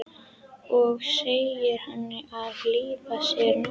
Og segir henni að lífið sé nokkurs virði.